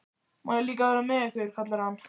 Má ég líka vera með ykkur? kallar hann.